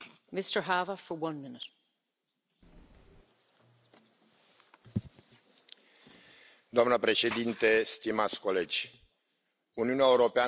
Doamna președintă, stimați colegi, Uniunea Europeană are nevoie de acces la banii din viitorul CFM cât mai repede, cât mai predictibil și simplificat.